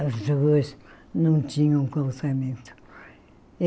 As ruas não tinham calçamento.